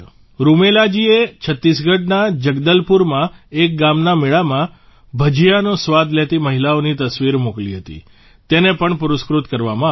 રૂમેલાજીએ છત્તીસગઢના જગદલપુરમાં એક ગામના મેળામાં ભજીયાનો સ્વાદ લેતી મહિલાઓની તસવીર મોકલી હતી તેને પણ પુરસ્કૃત કરવામાં આવી